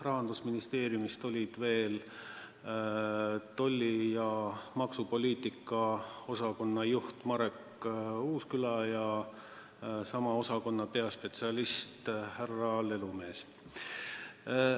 Rahandusministeeriumist olid kohal veel tolli- ja aktsiisipoliitika osakonna juht Marek Uusküla ja sama osakonna peaspetsialist härra Lelumees.